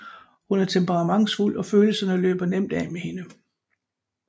Hun er temperamentsfuld og følelserne løber nemt af med hende